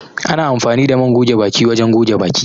Ana amfani da man goge baki wajen goge baki